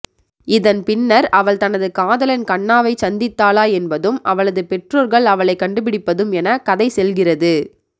இதன் பின்னர் அவள் தனது காதலன் கண்ணாவைச் சந்தித்தாளா என்பதும் அவளது பெற்றோர்கள அவளை கண்டுபிடிப்பதும் எனக் கதை செல்கிறது